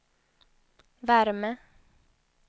värme